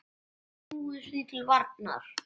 Snúumst því til varnar!